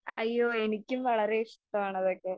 അയ്യോ എനിക്ക് വളരെ ഇഷ്ടമാണ് അതൊക്കെ.